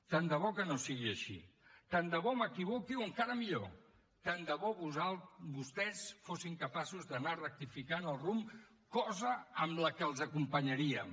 tant de bo que no sigui així tant de bo m’equivoqui o encara millor tant de bo vostès fossin capaços d’anar rectificant el rumb cosa amb la que els acompanyaríem